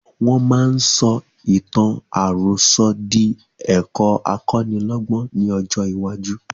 Wọn máa sọ ìtàn àròsọ̀ di ẹ̀kọ́ akọ́nílọ́gbọ́n ni ọjọ́ iwájú